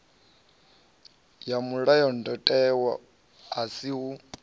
ya mulayotewa a si u